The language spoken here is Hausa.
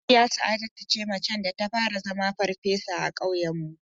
Hajiya Sa'adatu ce macen da ta fara zama farfesa a ƙauyen mu